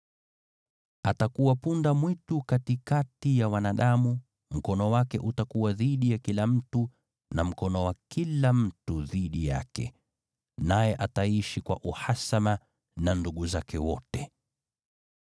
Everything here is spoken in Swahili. Atakuwa punda-mwitu katikati ya wanadamu, mkono wake utakuwa dhidi ya kila mtu na mkono wa kila mtu dhidi yake, naye ataishi kwa uhasama na ndugu zake wote.”